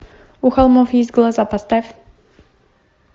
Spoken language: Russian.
у холмов есть глаза поставь